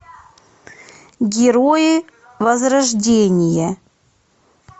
герои возрождения